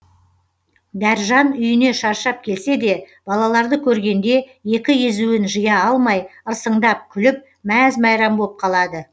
дәржан үйіне шаршап келсе де балаларды көргенде екі езуін жия алмай ырсыңдап күліп мәз мейрам боп қалады